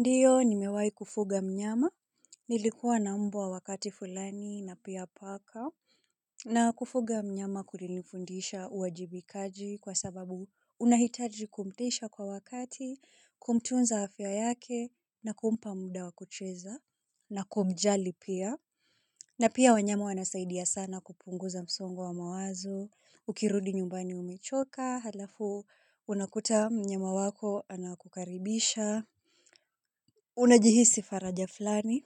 Ndiyo nimewahi kufuga mnyama, nilikuwa na mbwa wakati fulani na pia paka na kufuga mnyama kulinifundisha uwajibikaji kwa sababu unahitaji kumtisha kwa wakati kumtunza afya yake na kumpa muda wa kucheza na kumjali pia na pia wanyama wanasaidia sana kupunguza msongo wa mawazo, ukirudi nyumbani umechoka, halafu unakuta mnyama wako anakukaribisha. Unajihisi faraja fulani,